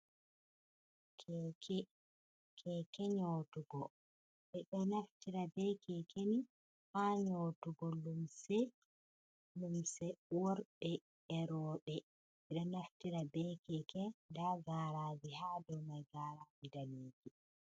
"Keke" keke nyatugo ɓe ɗo naftira be keke ni ha nyautugo lumse. Lumse worɓe e roɓe ɓe ɗo naftira be keke nda garaji ha ɗow mai garaji ɗanejum.